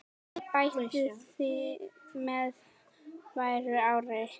Æ betur með hverju ári.